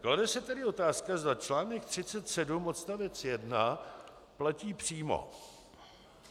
Klade se tedy otázka, zda článek 37 odstavec 1 platí přímo.